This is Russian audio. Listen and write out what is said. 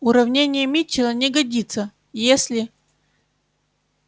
уравнение митчелла не годится если